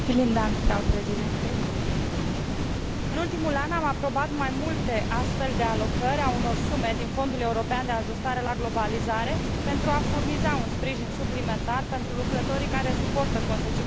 În ultimul an am aprobat mai multe astfel de alocări ale unor sume din Fondul European de Ajustare la Globalizare pentru a furniza un sprijin suplimentar pentru lucrătorii care suportă consecințele schimbărilor majore în structura comerțului global.